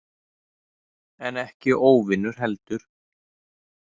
En ekki óvinur heldur.